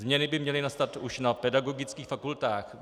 Změny by měly nastat už na pedagogických fakultách.